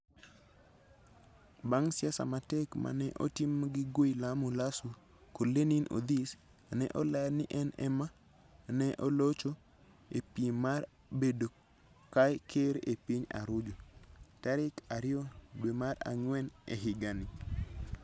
Bang ' siasa ma tek ma ne otim gi Guillermo Lasso kod LeninOdhis, ne oland ni en ema ne olocho e piem mar bedo ker e piny Arujo, tarik 2 dwe mar ang'wen e higani.